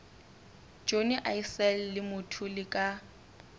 johnny issel le mthuli ka